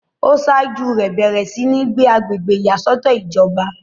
ó sáájú rẹ̀ bẹ̀rẹ̀ sí ní gbé agbègbè ìyàsọ́tọ̀ ìjọba